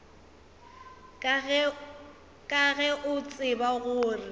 ka ge o tseba gore